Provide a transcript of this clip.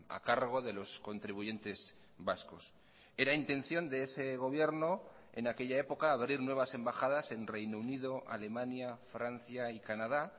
a cargo de los contribuyentes vascos era intención de ese gobierno en aquella época abrir nuevas embajadas en reino unido alemania francia y canadá